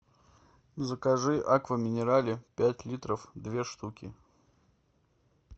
закажи аква минерале пять литров две штуки